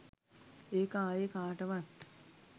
ඒක ආයේ කාටවත්